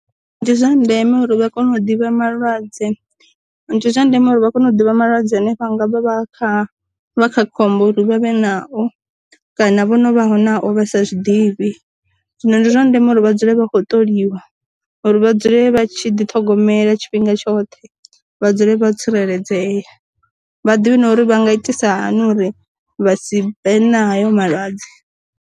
Ndi zwa ndeme uri vha kone u ḓivha malwadze, ndi zwa ndeme uri vha kone u ḓivha malwadze hanefha ngavha vha kha vha kha khombo ri vha vhe nao, kana vho no vha ho nao vha sa zwiḓivhi, zwino ndi zwa ndeme uri vha dzule vha khou ṱoliwa uri vha dzule vha tshi ḓi ṱhogomela tshifhinga tshoṱhe vha dzule vha tsireledzea, vhaḓivhe na uri vha nga itisa hani uri vha si vhe na hayo malwadze.